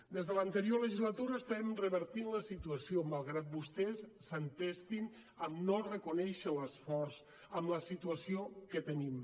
des de l’anterior legislatura estem revertint la situació malgrat vostès s’entestin a no reconèixer l’esforç amb la situació que tenim